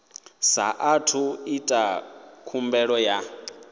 saathu u ita khumbelo ya